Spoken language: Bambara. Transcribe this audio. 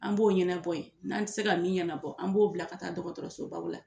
An b'o ɲɛnabɔ yen n'an tɛ se ka min ɲɛnabɔ an b'o bila ka taa dɔgɔtɔrɔsoba la